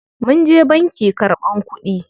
Munje banki karɓan kuɗi.